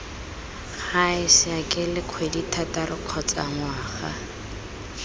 gae saekele kgwedithataro kgotsa ngwaga